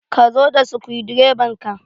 Ka zo da sukudireban ka!